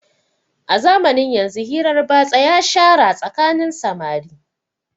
A zamanin yanzu hirar batsa ya shara tsakanin samari